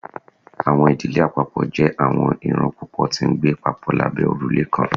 Awọn idile apapọ jẹ awọn iran pupọ ti ngbe papọ labẹ orule kan